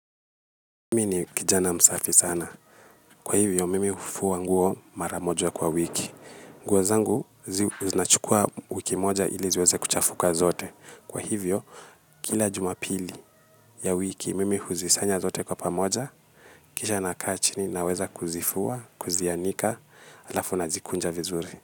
Mimi ni kijana msafi sana. Kwa hivyo, mimi hufua nguo maramoja ya kwa wiki. Nguozangu, zinachukua wiki moja ili ziweze kuchafuka zote. Kwa hivyo, kila jumapili ya wiki, mimi huzisanya zote kwa pamoja, kisha naka chini na weza kuzifua, kuzianika, alafu nazikunja vizuri.